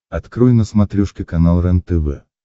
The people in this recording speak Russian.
открой на смотрешке канал рентв